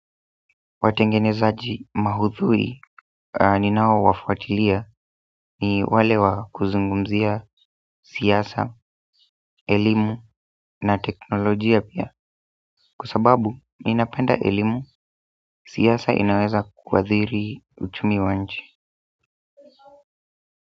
Watengenezaji maudhui ninao wafuatilia ni wale wa kuzungumzia siasa, elimu na teknolojia pia kwa sababu ninapenda elimu, siasa inaweza kuadhiri uchumi wa nchi.